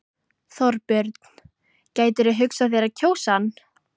Þorbjörn: Gætirðu hugsað þér að kjósa hann?